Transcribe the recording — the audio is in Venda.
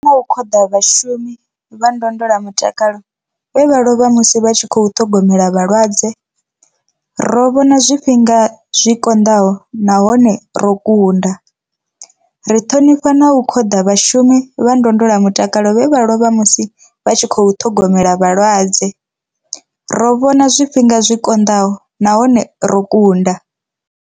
Ri ṱhonifha na u khoḓa vhashumi vha ndondolamutakalo vhe vha lovha musi vha tshi khou ṱhogomela vhalwadze. Ro vhona zwifhinga zwi konḓaho nahone ro kunda. Ri ṱhonifha na u khoḓa vhashumi vha ndondolamutakalo vhe vha lovha musi vha tshi khou ṱhogomela vhalwadze. Ro vhona zwifhinga zwi konḓaho nahone ro kunda.